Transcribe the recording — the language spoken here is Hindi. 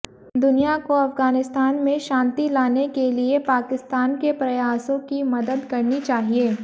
दुनिया को अफगानिस्ता में शांति लाने के लिए पाकिस्तान के प्रयासों की मदद करनी चाहिए